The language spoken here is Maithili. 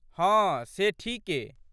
हँ, से ठीके।